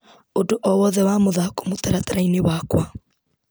ũndũ o wothe wa mũthako mũtaratara-inĩ wakwa .